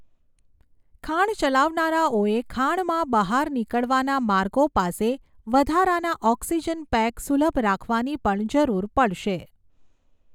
ખાણ ચલાવનારાઓેએ ખાણમાં બહાર નીકળવાના માર્ગો પાસે વધારાના ઓક્સિજન પેક સુલભ રાખવાની પણ જરૂર પડશે.